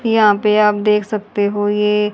यहाँ पे आप देख सकते हो ये--